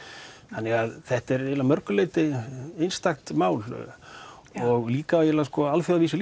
þannig að þetta er að mörgu leyti einstakt mál og líka á alþjóðavísu